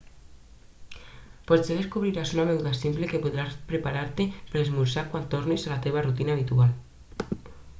potser descobriràs una beguda simple que podràs preparar-te per esmorzar quan tornis a la teva rutina habitual